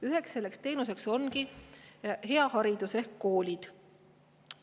Üks selline teenus ongi hea haridus ehk koolid.